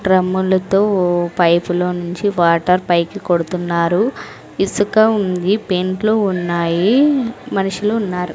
డ్రమ్ములతో పైపులో నుంచి వాటర్ పైకి కొడుతున్నారు ఇసుక ఉంది పెంట్లు ఉన్నాయి మనుషులు ఉన్నారు.